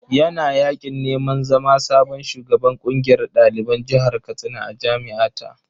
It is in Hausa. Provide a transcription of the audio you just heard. Yana yaƙin neman zama sabon shugaban ƙungiyar ɗaliban jihar Katsina a jami’a ta.